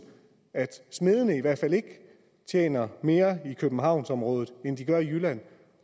at smedene i hvert fald ikke tjener mere i københavnsområdet end de gør i jylland